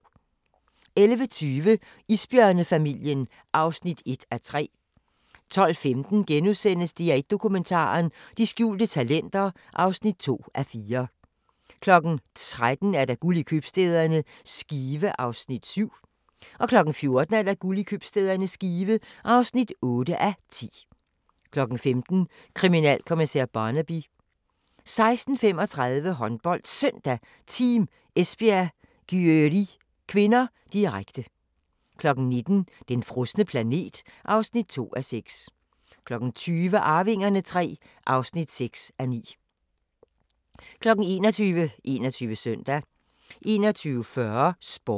11:20: Isbjørnefamilien (1:3) 12:15: DR1 Dokumentar: De skjulte talenter (2:4)* 13:00: Guld i købstæderne – Skive (7:10) 14:00: Guld i købstæderne – Skive (8:10) 15:00: Kriminalkommissær Barnaby 16:35: HåndboldSøndag: Team Esbjerg-Györi (k), direkte 19:00: Den frosne planet (2:6) 20:00: Arvingerne III (6:9) 21:00: 21 Søndag 21:40: Sporten